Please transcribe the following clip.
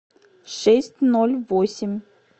шесть ноль восемь